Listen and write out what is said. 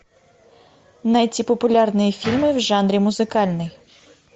найти популярные фильмы в жанре музыкальный